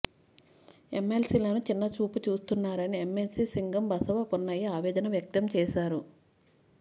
ఎమ్మెల్సీలను చిన్న చూపు చూస్తున్నారని ఎమ్మెవ్సీ సింగం బసవపున్నయ్య ఆవేదన వ్యక్తం చేశారు